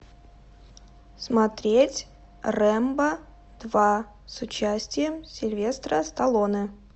смотреть рэмбо два с участием сильвестра сталлоне